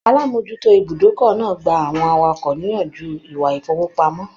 Alamojuto ibùdókọ̀ náà gbà àwọn awakọ̀ niyanju ìwà ifowopamọ.